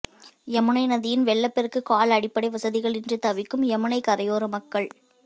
யமுனை நதியின் வெள்ளப்பெருக்கால் அடிப்படை வசதிகள் இன்றி தவிக்கும் யமுனை கரையோர மக்கள்